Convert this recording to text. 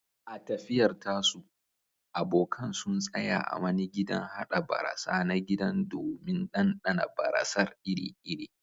A tafiyar tasu, abokan sun tsaya a wani gidan haɗa barasa na gida domin ɗanɗana barasar iri-iri.